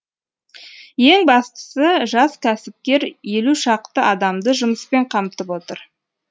ең бастысы жас кәсіпкер елу шақты адамды жұмыспен қамтып отыр